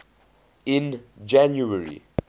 in january